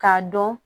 K'a dɔn